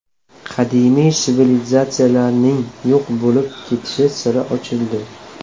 Qadimiy sivilizatsiyalarning yo‘q bo‘lib ketish siri ochildi.